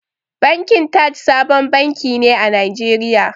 Bankin Taj sabon banki ne a Najeriya.